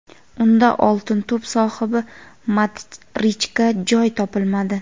unda "Oltin to‘p" sohibi Modrichga joy topilmadi.